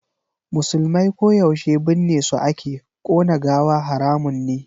Musulmai ko yaushe binne su ake, ƙona gawa haramun ne.